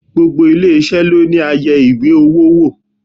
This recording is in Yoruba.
Gbogbo ilé-isẹ ló ní ayẹwo owó.